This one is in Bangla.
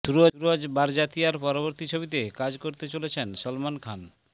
সুরজ বারজাতিয়ার পরবর্তী ছবিতে কাজ করতে চলেছেন সলমান খান